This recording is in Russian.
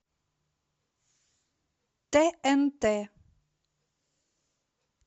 тнт